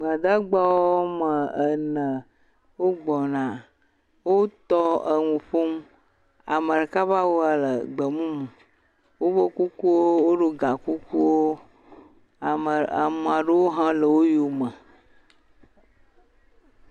Gbadagba aɖewo wogbɔna. Wo tɔwo enu ƒom. Ame ɖeka be awua le gbemumu, woƒe kukuwo, woɖo gakukuwo. Ame aɖewo hã le wo yome.